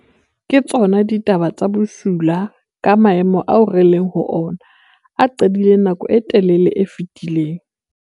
Ke tsona ditaba tse bosula ka maemo ao re leng ho ona, a qadileng nakong e telele e fetileng.